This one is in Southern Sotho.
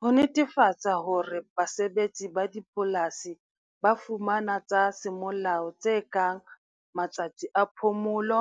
Ho netefatsa hore basebetsi ba dipolasi ba fumana tsa semolao tse kang matsatsi a phomolo,